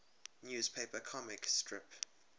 newspaper comic strip